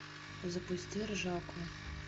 запусти ржаку